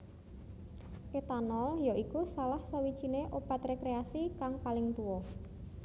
Etanol ya iku salah sawijiné obat rekreasi kang paling tuwa